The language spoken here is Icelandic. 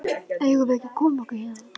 Eigum við ekki að koma okkur héðan?